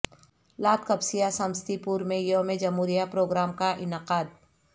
Ladh Kapsiya Samastipur میں یوم جمہوریہ پروگرام کا انعقاد